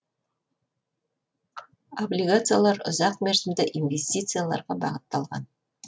облигациялар ұзақ мерзімді инвестицияларға бағытталған